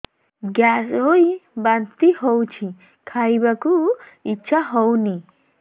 gas ହୋଇ ବାନ୍ତି ହଉଛି ଖାଇବାକୁ ଇଚ୍ଛା ହଉନି